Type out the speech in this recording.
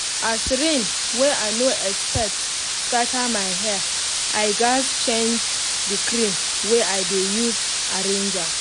as rain wey i no expect scatter my hair i gaz change the cream wey i dey use arrange am